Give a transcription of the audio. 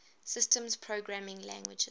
systems programming languages